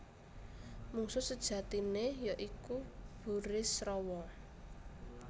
Mungsuh sejatiné ya iku Burisrawa